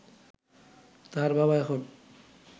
তার বাবা এখন